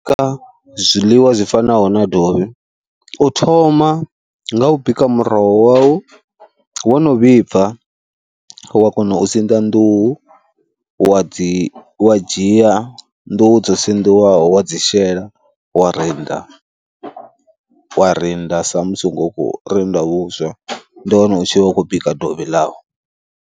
Kha zwiḽiwa zwi fanaho na dovhi u thoma nga u bika muroho wau, wo no vhibva wa kona u sinḓa nḓuhu wa dzi wa dzhia nḓuhu dzo sinḓiwaho wa dzi shela, wa rinda wa rinda sa musi hu khou rinda vhuswa. Ndi hone u tshi vha u khou bika dovhi ḽau.